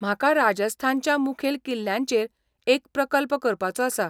म्हाका राजस्थानच्या मुखेल किल्ल्यांचेर एक प्रकल्प करपाचो आसा.